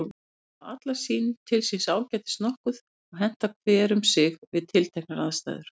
Þær hafa allar til síns ágætis nokkuð og henta hver um sig við tilteknar aðstæður.